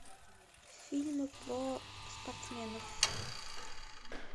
фильмы про спортсменов